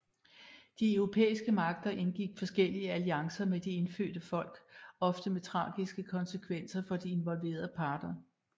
De europæiske magter indgik forskellige alliancer med de indfødte folk ofte med tragiske konsekvenser for de involverede parter